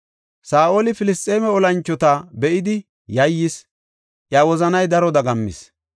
Saa7oli Filisxeeme olanchota be7idi yayyis; iya wozanay daro dagammis.